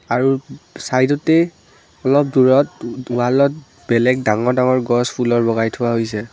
আৰু উম চাইদতে অলপ দূৰত উম ৱালত বেলেগ ডাঙৰ ডাঙৰ গছ ফুলৰ লগাই থোৱা হৈছে।